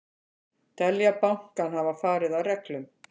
Telja bankann hafa farið að reglum